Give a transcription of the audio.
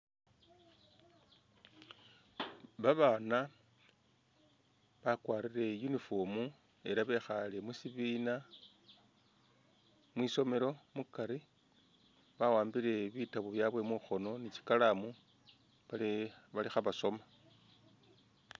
Babaana bakwalire uniform ela bekhale musibina mwisomelo mukari bawambile bitabo byabwe mukhoono ni tsikalamu bali bali khabasoma